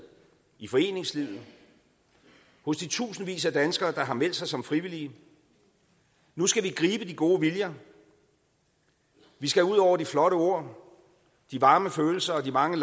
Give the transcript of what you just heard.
i foreningslivet hos de tusindvis af danskere der har meldt sig som frivillige nu skal vi gribe de gode viljer vi skal ud over de flotte ord de varme følelser og de mange